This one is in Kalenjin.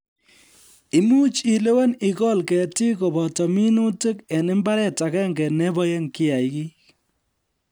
Imuuch ilewen ikol ketiik koboto minutik eng imbaret agenge neiboe kiagik